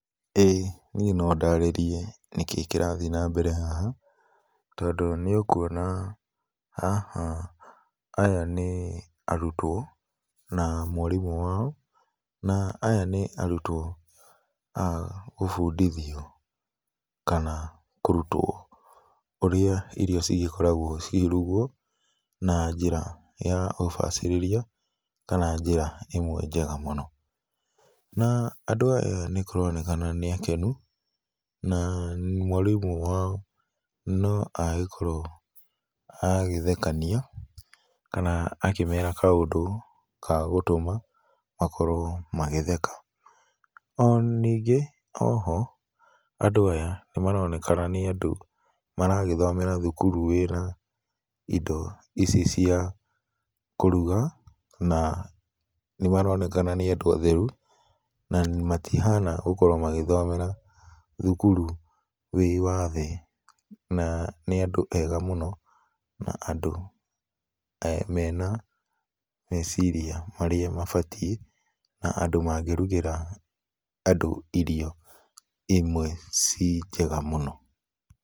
Ĩĩ nĩe no ndarĩrĩe nĩkĩ kĩrathĩe na mbere haha tondũ nĩ ũkũona haha aya nĩ arũtwo na mwarĩmũ wao na aya nĩ arũtwo a kũbũndĩthĩo kana kũrũtwo ũrĩa irio cigĩkoragwo cikĩrũgwo, na njĩra ya ũbacirĩrĩa kana njĩra ĩmwe njega mũno na andũ aya nĩ kũraonekana nĩ akenũ na mwarĩmũ wao no agĩkĩorwo agĩthekanĩa kana akĩmera kaũndũ ga gũtũma makorwo magĩtheka. O nĩngĩ oho andũ aya nĩmaraonekana nĩ andũ maragĩthomera thukuru wĩna indo ici cia kũrũga na nĩ maraonekana nĩ andũ atherũ, na matĩhana gũkorwo magĩthomera thukuru wĩ wa thĩ na nĩ andũ ega mũno na andũ mena mecirĩa mabatĩe na andũ magĩrũgĩra andũ irio ĩmwe ci njega mũno.